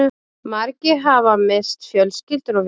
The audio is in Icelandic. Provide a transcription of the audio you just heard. Margir hafa misst fjölskyldur og vini